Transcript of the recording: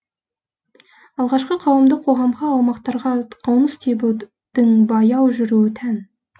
алғашқы қауымдық қоғамға аумақтарға қоныс тебудің баяу жүруі тән